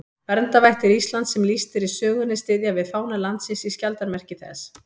Verndarvættir Íslands sem lýst er í sögunni styðja við fána landsins í skjaldarmerki þess.